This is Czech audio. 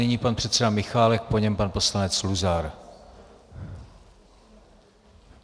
Nyní pan předseda Michálek, po něm pan poslanec Luzar.